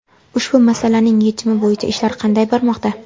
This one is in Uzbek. Ushbu masalaning yechimi bo‘yicha ishlar qanday bormoqda?